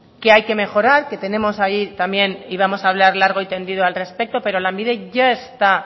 que hay que mejorar que tenemos ahí también y vamos a hablar largo y tendido al respecto pero lanbide ya está